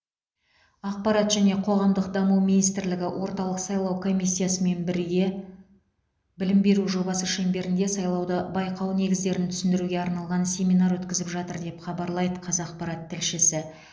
ақпарат және қоғамдық даму министрлігі орталық сайлау комиссиясымен бірге білім беру жобасы шеңберінде сайлауды байқау негіздерін түсіндіруге арналған семинар өткізіп жатыр деп хабарлайды қазақпарат тілшісі